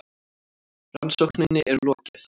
Rannsókninni er lokið!